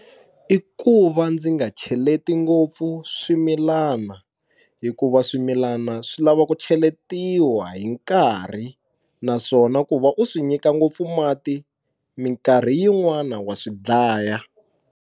I ku va ndzi nga cheleti ngopfu swimilana hikuva swimilana swi lava ku cheletiwa hi nkarhi naswona ku va u swi nyika ngopfu mati minkarhi yin'wani wa swi dlaya.